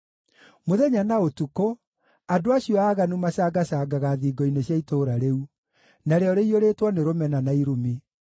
Mũthenya na ũtukũ, andũ acio aaganu macangacangaga thingo-inĩ cia itũũra rĩu; narĩo rĩiyũrĩtwo nĩ rũmena na irumi.